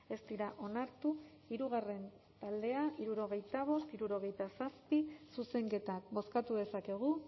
ez dira onartu hirugarren taldea hirurogeita bost hirurogeita zazpi zuzenketak bozkatu dezakegu